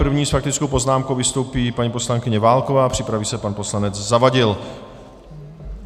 První s faktickou poznámkou vystoupí paní poslankyně Válková, připraví se pan poslanec Zavadil.